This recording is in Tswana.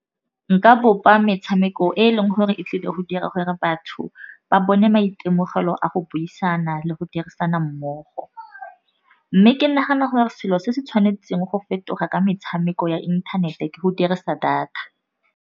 Nka bopa metshameko e e leng gore e tlile go dira gore batho ba bone maitemogelo a go buisana le go dirisana mmogo. Mme ke nagana gore selo se se tshwanetseng go fetoga ka metshameko ya inthanete ke go dirisa data.